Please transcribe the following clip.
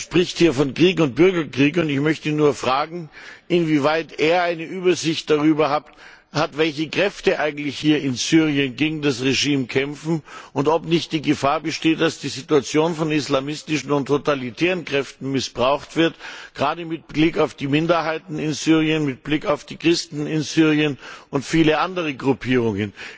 Er spricht hier von Krieg und Bürgerkrieg, und ich möchte ihn fragen, inwieweit er eine Übersicht darüber hat, welche Kräfte eigentlich in Syrien gegen das Regime kämpfen, und ob nicht die Gefahr besteht, dass die Situation von islamistischen und totalitären Kräften missbraucht wird, gerade mit Blick auf die Minderheiten in Syrien, mit Blick auf die Christen in Syrien und viele andere Gruppierungen.